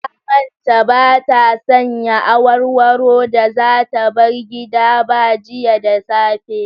Ta manta ba ta sanya awarwaro da za ta bar gida ba jiya da safe.